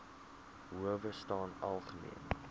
howe staan algemeen